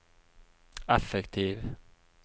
effektiv